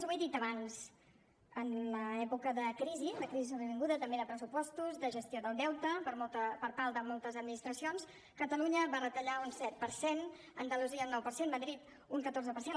ho he dit abans en l’època de crisi de crisi sobrevinguda també de pressupostos de gestió del deute per part de moltes administracions catalunya va retallar un set per cent andalusia un nou per cent madrid un catorze per cent